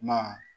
Ma